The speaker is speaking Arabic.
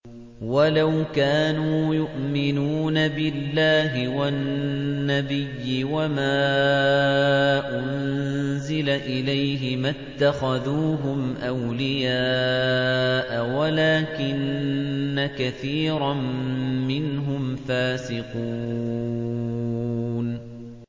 وَلَوْ كَانُوا يُؤْمِنُونَ بِاللَّهِ وَالنَّبِيِّ وَمَا أُنزِلَ إِلَيْهِ مَا اتَّخَذُوهُمْ أَوْلِيَاءَ وَلَٰكِنَّ كَثِيرًا مِّنْهُمْ فَاسِقُونَ